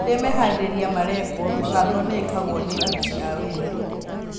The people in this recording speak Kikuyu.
Rĩrĩa meharĩrĩria marekwo, mĩbango nĩĩkagwo nĩ aruti a wĩra